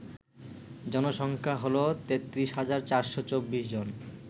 জনসংখ্যা হল ৩৩৪২৪ জন